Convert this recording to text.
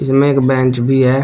इनमें एक बेंच भी है।